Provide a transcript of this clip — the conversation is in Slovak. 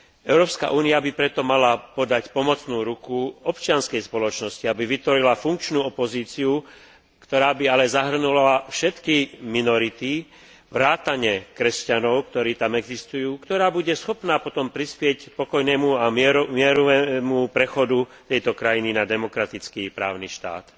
Európska únia by preto mala podať pomocnú ruku občianskej spoločnosti, aby vytvorila funkčnú opozíciu, ktorá by ale zahŕňala všetky minority vrátane kresťanov, ktorí tam existujú, ktorá bude schopná potom prispieť k pokojnému a mierovému prechodu tejto krajiny na demokratický právny štát.